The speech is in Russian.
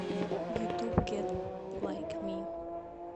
ютуб гет лайк ми